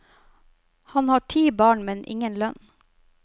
Han har ti barn, men ingen lønn.